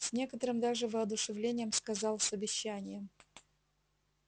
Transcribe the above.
с некоторым даже воодушевлением сказал с обещанием